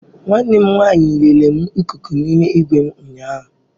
Nwanne m nwanyị lere m ikuku n'ime igwe m ụnyaahụ.